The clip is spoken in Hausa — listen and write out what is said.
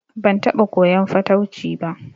Ban taɓa koyan fatauci ba